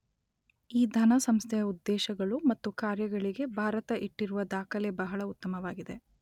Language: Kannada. ಈ ಧನ ಸಂಸ್ಥೆಯ ಉದ್ದೇಶಗಳು ಮತ್ತು ಕಾರ್ಯಗಳಿಗೆ ಭಾರತ ಇಟ್ಟಿರುವ ದಾಖಲೆ ಬಹಳ ಉತ್ತಮವಾಗಿದೆ.